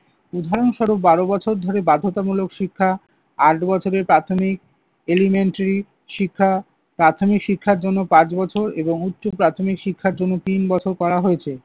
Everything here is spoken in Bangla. উদাহরণস্বরূপ, বারো বছর ধরে বাধ্যতামূলক শিক্ষা, আট বছরে প্রাথমিক elementary শিক্ষা, প্রাথমিক শিক্ষার জন্য পাঁচ বছর এবং উচ্চ প্রাথমিক শিক্ষার জন্য তিন বছর করা হয়েছে।